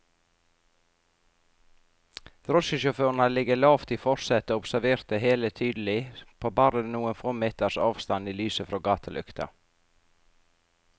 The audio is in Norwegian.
Drosjesjåføren hadde ligget lavt i forsetet og observert det hele tydelig, på bare noen få meters avstand i lyset fra gatelykta.